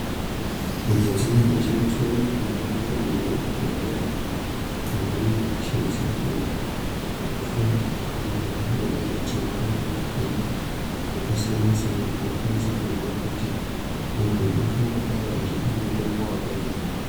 Midziyo inoshandiswa muzvibhehlera ngemadhogodheya apo vanenge vachishandisa kuhloya vantu vangangodai vachirwara ngematenda akasiyana-siyana, kuti vakwanise kuziya kuti muntu ungangodai achida mutombo wakadini.